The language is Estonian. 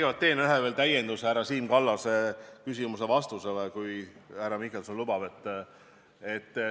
Ma teen kõigepealt ühe täienduse härra Siim Kallase küsimuse vastusele, kui härra Mihkelson lubab.